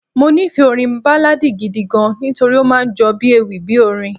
Mo nífẹ̀ẹ́ orin Báláadì gidi gan-an nítorí ó máa ń jọ bí ewì bí orin.